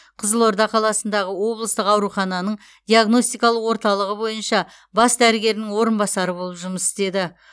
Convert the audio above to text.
қызылорда қаласындағы облыстық аурухананың диагностикалық орталығы бойынша бас дәрігерінің орынбасары болып жұмыс істеді